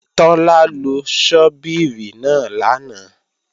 Tọ́lá lo ṣọ́bìrì náà lánàá